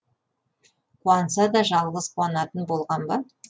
қуанса да жалғыз қуанатын болған ба